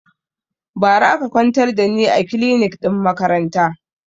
Ba ra aka kwantar da ni a kilinik ɗin makaranta